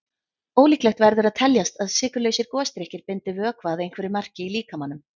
Ólíklegt verður að teljast að sykurlausir gosdrykkir bindi vökva að einhverju marki í líkamanum.